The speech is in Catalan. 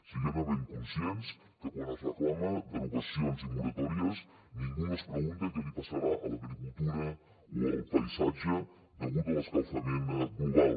siguem ne ben conscients que quan es reclamen derogacions i moratòries ningú no es pregunta què li passarà a l’agricultura o al paisatge degut a l’escalfament global